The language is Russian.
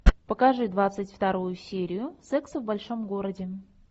покажи двадцать вторую серию секса в большом городе